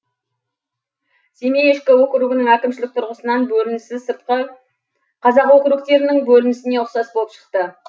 семей ішкі округінің әкімшілік тұрғысынан бөлінісі сыртқы қазақ округтерінің бөлінісіне ұқсас болып шықты